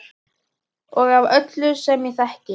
Og af öllum sem ég þekki.